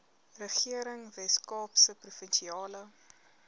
regering weskaapse provinsiale